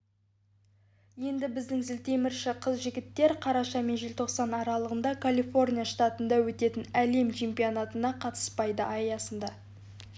енді біздің зілтемірші қыз-жігіттер қараша мен желтоқсан аралығында калифорния штатында өтетін әлем чемпионатына қатыспайды аясындағы